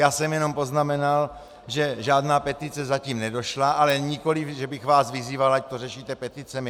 Já jsem jenom poznamenal, že žádná petice zatím nedošla, ale nikoli že bych vás vyzýval, ať to řešíte peticemi.